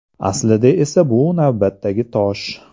Aslida esa bu navbatdagi tosh.